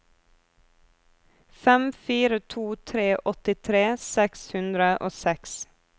fem fire to tre åttitre seks hundre og seks